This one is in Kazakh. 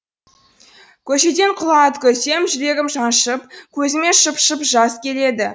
көшеден құла ат көрсем жүрегім шаншып көзіме шып шып жас келеді